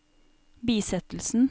bisettelsen